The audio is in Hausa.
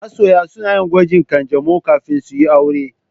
Masoya za su yi gwajin ƙanjamau kafin su yi aure.